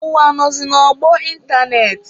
Ụwa nọzị n'ọgbọ ịntanetị.